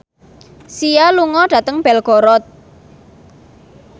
Sia lunga dhateng Belgorod